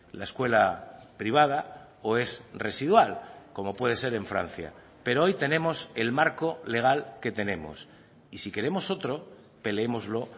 la escuela privada o es residual como puede ser en francia pero hoy tenemos el marco legal que tenemos y si queremos otro peleémoslo